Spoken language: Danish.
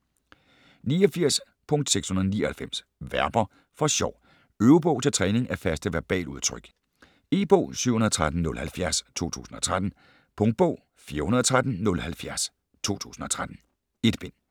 89.699 Verber for sjov Øvebog til træning af faste verbaludtryk E-bog 713070 2013. Punktbog 413070 2013. 1 bind.